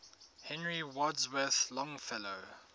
henry wadsworth longfellow